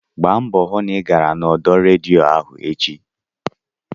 Gbaa mbọ hụ na ị gara n'ọdọ redio ahụ echi!